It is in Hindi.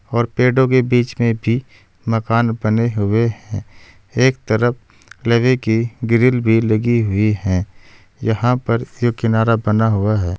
और पेड़ों के बीच में भी मकान बने हुए हैं एक तरफ लोहे की ग्रील भी लगी हुई है यहां पर यो किनारा बना हुआ है।